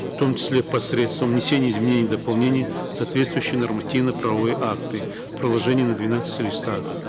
в том числе посредством внесения изменений и дополнений в соответствующие нормативно правовые акты приложение на двенадцати листах